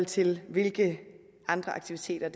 til hvilke andre aktiviteter